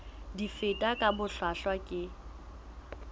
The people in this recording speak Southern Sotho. di fetwa ka bohlwahlwa ke